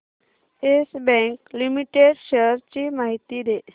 yes Bank Limited shares ची माहिती दे